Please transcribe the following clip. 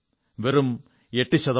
വെറും 8 ശതമാനം